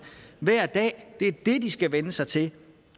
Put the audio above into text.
hver dag det er det de skal vænne sig til